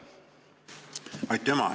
Aitüma!